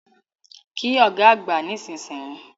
Kí Ọ̀gá àgbà nísinsìnyí!